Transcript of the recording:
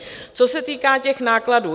Co se týká těch nákladů.